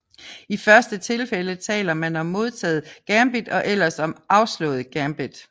I første tilfælde taler man om modtaget gambit og ellers om afslået gambit